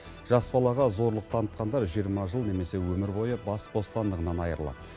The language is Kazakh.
жас балаға зорлық танытқандар жиырма жыл немесе өмір бойы бас бостандығынан айырылады